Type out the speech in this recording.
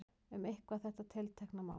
Um eitthvað þetta tiltekna mál.